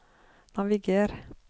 naviger